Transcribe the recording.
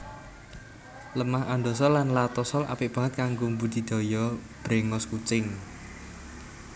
Lemah andosol lan latosol apik banget kanggo mbudidaya bréngos kucing